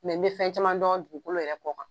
Mɛ n bɛ fɛn caman dɔn dugukolo yɛrɛ kɔ kan.